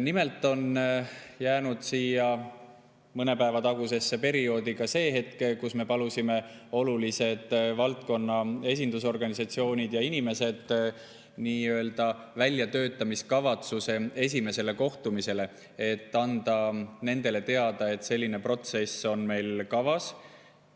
Nimelt jäi mõne päeva tagusesse perioodi ka see hetk, kui me palusime olulised valdkonna esindusorganisatsioonid ja inimesed väljatöötamiskavatsuse esimesele kohtumisele, et anda nendele teada, et selline protsess on meil kavas,